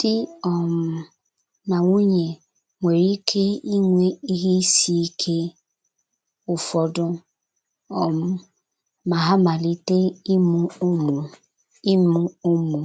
Di um na nwunye nwere ike inwe ihe isi ike ụfọdụ, um ma ha malite ịmụ ụmụ ịmụ ụmụ